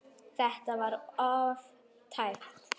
Þetta var of tæpt.